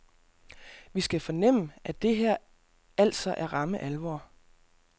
Vi skal fornemme, at det her altså er ramme alvor.